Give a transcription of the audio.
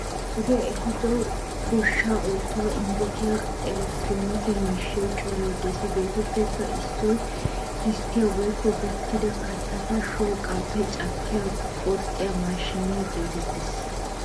Wodee ehiido goshshaa oosuwassi injjetiya elekkittiroonee miishshay coray de'ees. Hegeetuppe issoy gisttiya woykko ka'ida ay kattaakka shooqaappe cakkidi qoxxiya maashiniya geetettees.